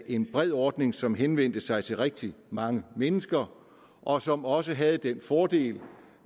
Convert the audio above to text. en bred ordning som henvendte sig til rigtig mange mennesker og som også havde den fordel